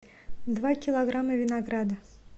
два килограмма винограда